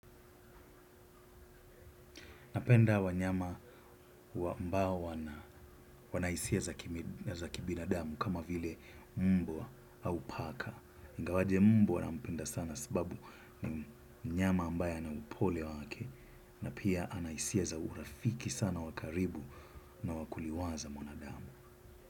Napenda wanyama wambao wana hisia za kibinadamu, kama vile mbwa au paka. Ngawaje mbwa nampenda sana sababu ni mnyama ambaye ana upole wake. Na pia, anahisia za urafiki sana wakaribu na wakuliwaza mwanadamu.